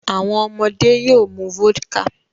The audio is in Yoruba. Awọn ọmọde yoo mu vodka